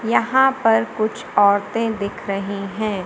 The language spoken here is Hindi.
यहां पर कुछ औरतें दिख रही हैं।